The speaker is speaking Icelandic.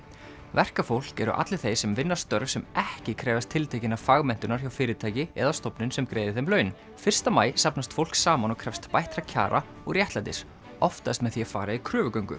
verkafólk eru allir þeir sem vinna störf sem ekki krefjast tiltekinnar fagmenntunar hjá fyrirtæki eða stofnun sem greiðir þeim laun fyrsta maí safnast fólk saman og krefst bættra kjara og réttlætis oftast með því að fara í kröfugöngu